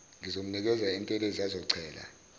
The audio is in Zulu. ngizomnikeza intelezi azochela